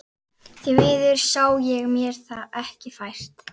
Því miður sá ég mér það ekki fært.